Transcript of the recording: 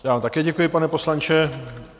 Já vám také děkuji, pane poslanče.